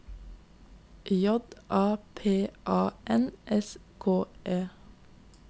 J A P A N S K E